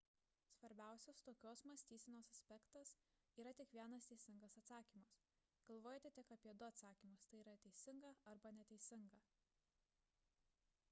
svarbiausias tokios mąstysenos aspektas – yra tik vienas teisingas atsakymas galvojate tik apie du atsakymus t y teisingą arba neteisingą